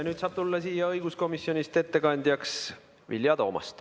Nüüd saab tulla siia õiguskomisjonist ettekandjaks Vilja Toomast.